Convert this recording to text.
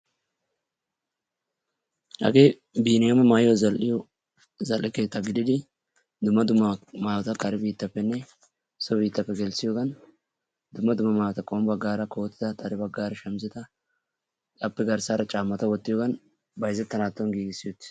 Hagee biniyama maayuwaa zal'iyo zal'ee keettaa gididi dumma dumma maayotta kare biitappene so biitappe gelisiyogan dumma dumma maayota qommo baggaara kotetta, xadde baggaara shamisetta, appe garssara caamatta wottiyogan bayzzetandan gigisi wottiis.